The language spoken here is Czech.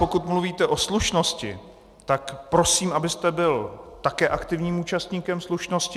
Pokud mluvíte o slušnosti, tak prosím, abyste byl také aktivním účastníkem slušnosti.